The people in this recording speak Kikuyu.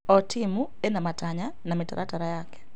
O timu ĩna matanya na mĩtaratara yake.